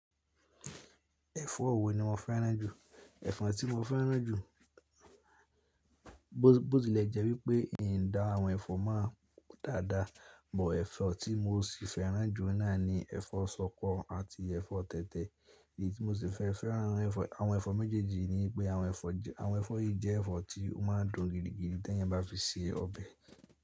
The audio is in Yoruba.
Ẹ̀fọ́ wo ni mo fẹ́ràn jù. Ẹ̀fọ́ tí mo fẹ́ràn jù, bó ti lẹ̀ jẹ́ wípé n dá àwọn ẹ̀fọ́ máa dáa dáa, bo ẹ̀fọ́ tí mo sì fẹ́ràn jù nà ní ẹ̀fọ́ ṣọkọ àti ẹ̀fọ́ tẹ̀tẹ̀. Èyí tí mo sì fẹ́ fẹ́ràn àwọn ẹ̀fọ́ méjèèjì yi ni pé àwọn ẹ̀fọ́ yìí jẹ́ ẹ̀fọ́ tí ó máa n dùn gidigidi tí ẹ̀eyan bá fi se ọbẹ̀.